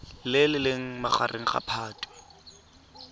le leng magareng ga phatwe